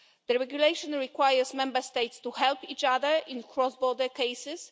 The regulation requires Member States to help each other in cross-border cases.